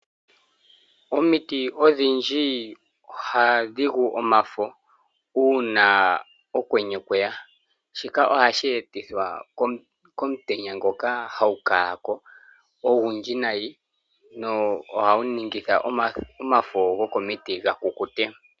Omiti odhindji ohadhi gu omafo uuna okwenye kweya, shika ohashi etithwa komutenya ngoka hagukala ko ogundji nayi na ohaguningitha omafo gokomiti gakukute.